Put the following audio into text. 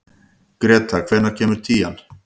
Grethe, hvenær kemur tían?